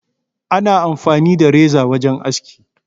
Ana amfani da reza wajen aski.